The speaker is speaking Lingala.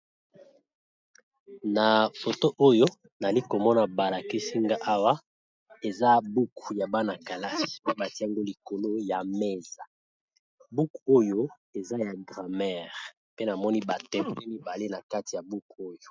na foto oyo nali komona balakisinga awa eza buku ya bana-kalase mpe batiango likolo ya mesa. buku oyo eza ya dramere pe namoni batem pe mibale na kati ya buku oyo